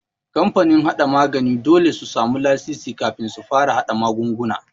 Kamfanin haɗa magani dole su samu lasisi kafin su fara haɗa magunguna.